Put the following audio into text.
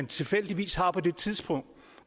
tilfældigvis har på det tidspunkt